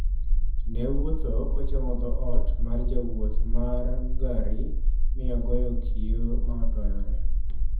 Ne owuotho kochomo dhoot mar jawuoth mar gari mi ogoyo kiyo ma otoyore.